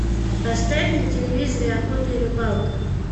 поставь на телевизоре охота и рыбалка